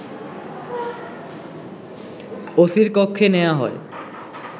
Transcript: ওসির কক্ষে নেয়া হয়